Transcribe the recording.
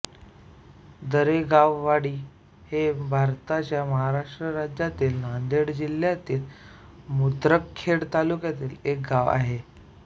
दरेगाववाडी हे भारताच्या महाराष्ट्र राज्यातील नांदेड जिल्ह्यातील मुदखेड तालुक्यातील एक गाव आहे